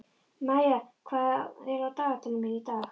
Maía, hvað er á dagatalinu mínu í dag?